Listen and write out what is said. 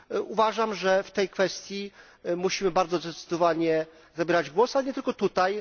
Uważam, że w tej kwestii musimy bardzo zdecydowanie zabierać głos, ale nie tylko tutaj.